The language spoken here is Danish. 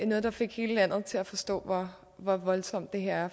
noget der fik hele landet til at forstå hvor voldsomt det her